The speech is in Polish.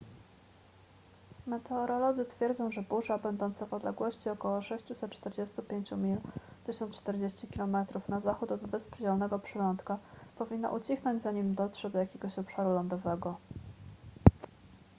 meteorolodzy twierdzą że burza będąca w odległości około 645 mil 1040 km na zachód od wysp zielonego przylądka powinna ucichnąć zanim dotrze do jakiegoś obszaru lądowego